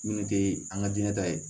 Minnu tɛ an ka diinɛ ta ye